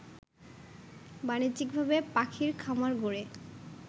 বাণিজ্যিকভাবে পাখির খামার গড়ে